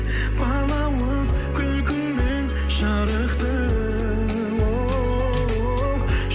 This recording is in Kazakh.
балауыз күлкіңмен жарықты оу